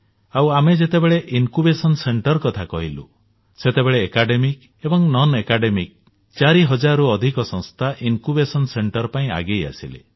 ଆଉ ଆମେ ଯେତେବେଳେ ଜ୍ଞାନାଙ୍କୁର କେନ୍ଦ୍ର କଥା କହିଲୁ ସେତେବେଳେ 4 ହଜାରରୁ ଅଧିକ ଶିକ୍ଷଣ ଏବଂ ଅଣଶିକ୍ଷଣ ସଂସ୍ଥା ଜ୍ଞାନାଙ୍କୁର କେନ୍ଦ୍ର ପାଇଁ ଆଗେଇ ଆସିଲେ